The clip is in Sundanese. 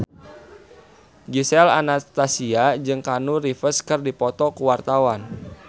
Gisel Anastasia jeung Keanu Reeves keur dipoto ku wartawan